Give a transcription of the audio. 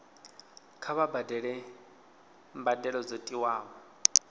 kha vha badele mbadelo dzo tiwaho